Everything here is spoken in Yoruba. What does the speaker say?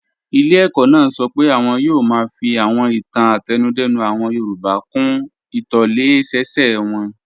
Ilé ẹ̀kọ́ náà sọ pé àwọn yóò máa fi àwọn ìtàn àtẹnudẹ́nu àwọn yorùbá kún ìtòlẹ́sẹẹsẹ wọn